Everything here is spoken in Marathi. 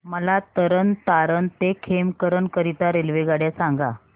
मला तरण तारण ते खेमकरन करीता रेल्वेगाड्या सांगा